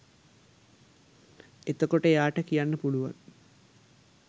එතකොට එයාට කියන්න පුලුවන්